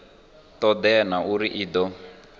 todea na uri i do